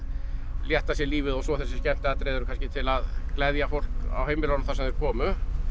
létta sér lífið og svo þessi skemmtiatriði eru kannski til að gleðja fólk á heimilunum þar sem þeir komu